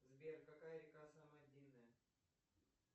сбер какая река самая длинная